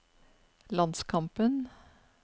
landskampen